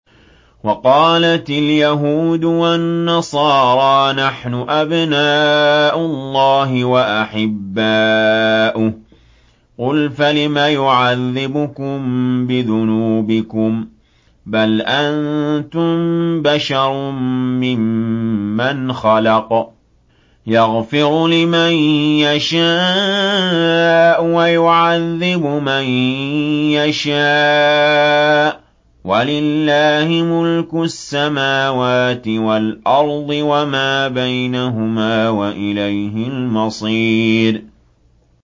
وَقَالَتِ الْيَهُودُ وَالنَّصَارَىٰ نَحْنُ أَبْنَاءُ اللَّهِ وَأَحِبَّاؤُهُ ۚ قُلْ فَلِمَ يُعَذِّبُكُم بِذُنُوبِكُم ۖ بَلْ أَنتُم بَشَرٌ مِّمَّنْ خَلَقَ ۚ يَغْفِرُ لِمَن يَشَاءُ وَيُعَذِّبُ مَن يَشَاءُ ۚ وَلِلَّهِ مُلْكُ السَّمَاوَاتِ وَالْأَرْضِ وَمَا بَيْنَهُمَا ۖ وَإِلَيْهِ الْمَصِيرُ